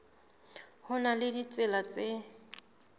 ho na le ditsela tse